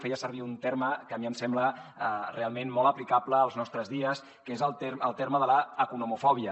feia servir un terme que a mi em sembla realment molt aplicable als nostres dies que és el terme de l’economofòbia